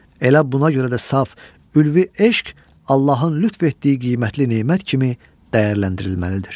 Elə buna görə də saf, ülvi eşq Allahın lütf etdiyi qiymətli nemət kimi dəyərləndirilməlidir.